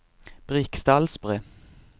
Briksdalsbre